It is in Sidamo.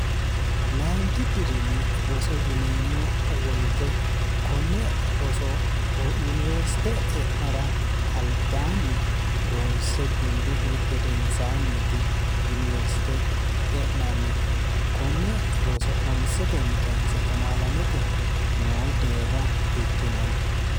layinki diriimi roso yineemmo woyite konne osoyuniwersite e'nara albaanni ronse gundihu gedensaanniiti yuniwersite e'nannihu konne roso honsetenni kse 12mte noo deerra bikkinanni